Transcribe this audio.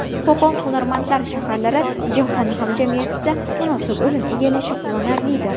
Qo‘qon hunarmandlar shaharlari jahon hamjamiyatida munosib o‘rin egallashi quvonarlidir.